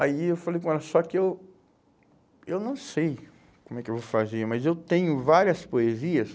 Aí eu falei com ela, só que eu, eu não sei como é que eu vou fazer, mas eu tenho várias poesias.